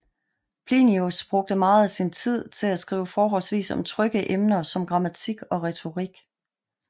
Plinius brugte meget af sin tid til at skrive forholdsvis om trygge emner som grammatik og retorik